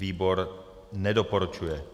Výbor nedoporučuje.